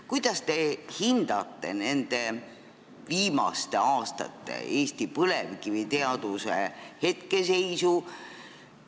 Kuidas te hindate Eesti põlevkiviteaduse hetkeseisu?